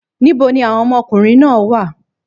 Níbo ni àwọn ọmọkùnrin náà wá à?